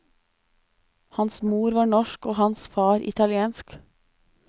Hans mor var norsk og hans far italiensk.